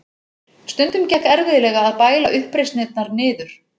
Stundum gekk erfiðlega að bæla uppreisnirnar niður.